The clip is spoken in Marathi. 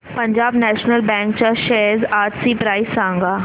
पंजाब नॅशनल बँक च्या शेअर्स आजची प्राइस सांगा